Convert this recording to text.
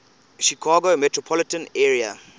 chicago metropolitan area